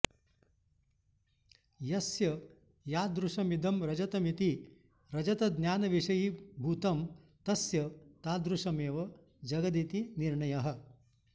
यस्य यादृशमिदं रजतमिति रजतज्ञानविषयीभूतं तस्य तादृशमेव जगदिति निर्णयः